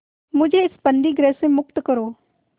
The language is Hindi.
मुझे इस बंदीगृह से मुक्त करो